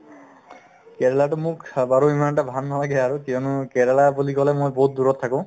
কেৰেলাতো মোক চা বাৰু ইমান এটা ভাল নালাগে আৰু কিয়নো কেৰেলা বুলি ক'লে মই বহুত দূৰত থাকো